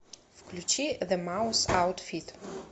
включи зе маус аутфит